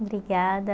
Obrigada.